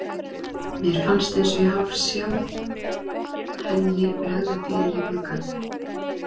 Mér fannst ég eins og hálfsjá henni bregða fyrir í glugga.